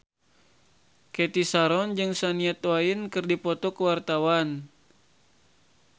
Cathy Sharon jeung Shania Twain keur dipoto ku wartawan